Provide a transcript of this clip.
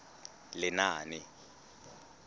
lenaane